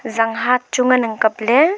zang hah chu nganang kapley.